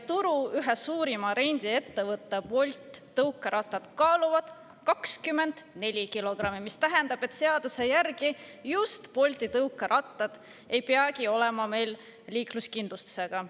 Turu ühe suurima rendiettevõtte Bolt tõukerattad kaaluvad 24 kilogrammi, mis tähendab, et seaduse järgi just Bolti tõukerattad ei peagi olema meil liikluskindlustusega.